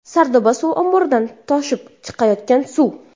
Sardoba suv omboridan toshib chiqayotgan suv.